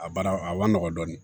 A baara a man nɔgɔn dɔɔnin